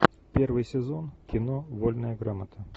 первый сезон кино вольная грамота